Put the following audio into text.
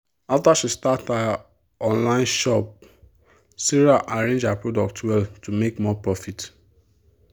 after she start her online shop sarah arrange her product well to make more profit.